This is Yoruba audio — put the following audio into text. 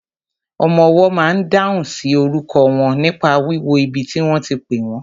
Ọmọwọ́ ma n dáhùn sí orúkọ wọn nípa wíwo ibi tí wọ́n ti pẹ́ wọ́n.